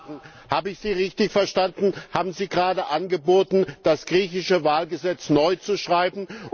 Herr Weber! Habe ich Sie richtig verstanden? Haben Sie gerade angeboten, das griechische Wahlgesetz neu zu schreiben?